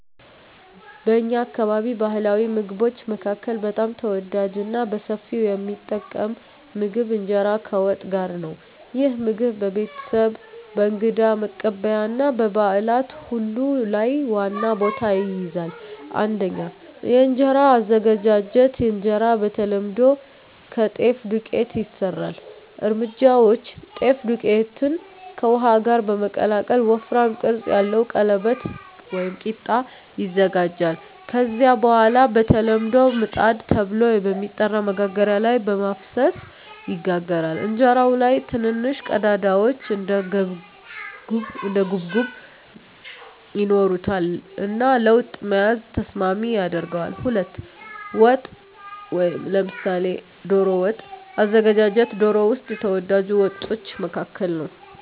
በእኛ አካባቢ ባሕላዊ ምግቦች መካከል በጣም ተወዳጅና በሰፊው የሚጠቀም ምግብ እንጀራ ከወጥ ጋር ነው። ይህ ምግብ በቤተሰብ፣ በእንግዳ መቀበያ እና በበዓላት ሁሉ ላይ ዋና ቦታ ይይዛል። 1. የእንጀራ አዘገጃጀት እንጀራ በተለምዶ ከጤፍ ዱቄት ይሰራል። እርምጃዎች: ጤፍ ዱቄትን ከውሃ ጋር በመቀላቀል ወፍራም ቅርጽ ያለው ቀለበት (ቂጣ) ይዘጋጃል። ከዚያ በኋላ በተለምዶ “ምጣድ” ተብሎ በሚጠራ መጋገሪያ ላይ በመፍሰስ ይጋገራል። እንጀራው ላይ ትንንሽ ቀዳዳዎች (እንደ ጉብጉብ) ይኖሩታል እና ለወጥ መያዝ ተስማሚ ያደርገዋል። 2. ወጥ (ምሳሌ ዶሮ ወጥ) አዘገጃጀት ዶሮ ወጥ ከተወዳጅ ወጦች መካከል ነው።